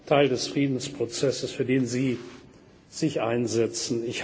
ein elementarer Teil des Friedensprozesses, für den Sie